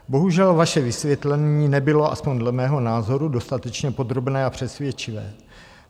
Bohužel, vaše vysvětlení nebylo aspoň dle mého názoru dostatečně podrobné a přesvědčivé.